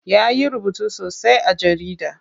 Ya yi rubutu sosai a jarida.